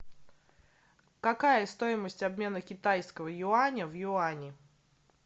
какая стоимость обмена китайского юаня в юани